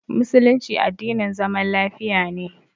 Musulunci addinin zaman lafiya ne.